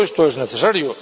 Todo esto es necesario.